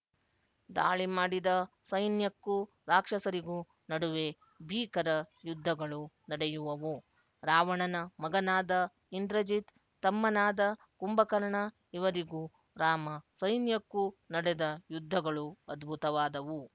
ದಾಳಿಮಾಡಿದ ಸೈನ್ಯಕ್ಕೂ ರಾಕ್ಷಸರಿಗೂ ನಡುವೆ ಭೀಕರ ಯುದ್ಧಗಳು ನಡೆಯುವವು ರಾವಣನ ಮಗನಾದ ಇಂದ್ರಜಿತ್ ತಮ್ಮನಾದ ಕುಂಭಕರ್ಣ ಇವರಿಗೂ ರಾಮ ಸೈನ್ಯಕ್ಕೂ ನಡೆದ ಯುದ್ಧಗಳು ಅದ್ಭುತವಾದವು